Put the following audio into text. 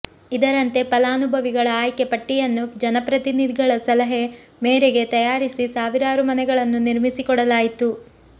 ಇದರಂತೆ ಫಲಾನುಭವಿಗಳ ಆಯ್ಕೆ ಪಟ್ಟಿಯನ್ನು ಜನಪ್ರತಿನಿಧಿಗಳ ಸಲಹೆ ಮೇರೆಗೆ ತಯಾರಿಸಿ ಸಾವಿರಾರು ಮನೆಗಳನ್ನು ನಿರ್ಮಿಸಿಕೊಡಲಾಯಿತು